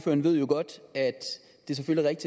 det skal jeg ikke